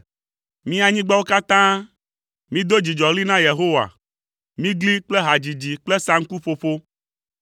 Mi anyigbawo katã, mido dzidzɔɣli na Yehowa, migli kple hadzidzi kple saŋkuƒoƒo.